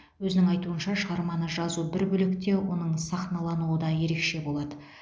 өзінің айтуынша шығарманы жазу бір бөлек те оның сахналануы да ерекше болады